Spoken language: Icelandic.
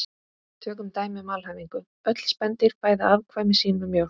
Tökum dæmi um alhæfingu: Öll spendýr fæða afkvæmi sín með mjólk